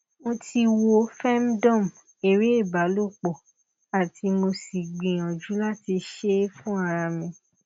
mo ti wo femdome ere ibalopo ati mo si gbiyanju lati se e fun ara mi